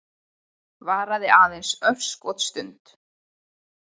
Varaði aðeins örskotsstund.